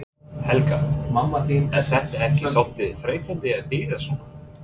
Helga: Er þetta ekki svolítið þreytandi að bíða svona?